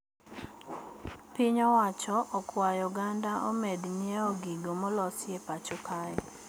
Piny owacho okwayo oganda omed nyieo gigo molosi e pacho kae